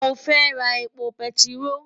Mo fẹ́ ra epo bẹntiró.